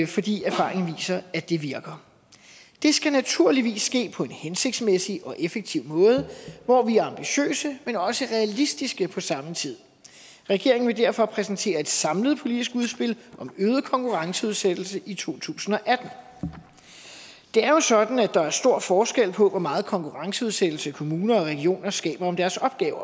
fordi erfaringen viser at det virker det skal naturligvis ske på en hensigtsmæssig og effektiv måde hvor vi er ambitiøse men også realistiske på samme tid regeringen vil derfor præsentere et samlet politisk udspil om øget konkurrenceudsættelse i to tusind og atten det er jo sådan at der er stor forskel på hvor meget konkurrenceudsættelse kommuner og regioner skaber om deres opgaver